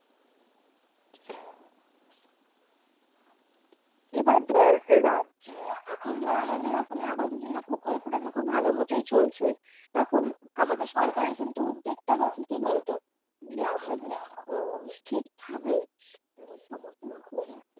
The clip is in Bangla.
এবার ধর রাজ্যে এখন ধর আমাদের কোন আবাস যোজনা প্রকল্পটা তো খুব ভালো মতই চলছ। এখন আমাদের সরকারের কিন্তু উদ্যোগটা কি হচ্ছে বলতো যে আমরা অ্যাঁ ঠিক ভাবে যেন সমস্ত রকম